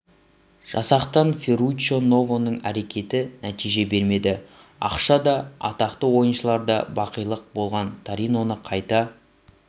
жасақтаған ферруччо новоның әрекеті нәтиже бермеді ақша да атақты ойыншылар да бақилық болған ториноны қайта